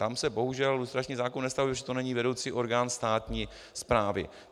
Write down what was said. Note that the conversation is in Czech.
Tam se bohužel lustrační zákon nevztahuje, protože to není vedoucí orgán státní správy.